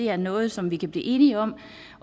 er noget som vi kan blive enige om